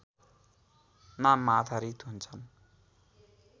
नाममा आधारित हुन्छन्